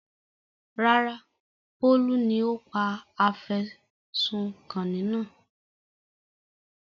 Rárá, Bólú ni ó pa afẹ̀sùnkanni náà.